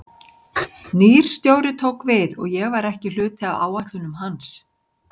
Nýr stjóri tók við og ég var ekki hluti af áætlunum hans.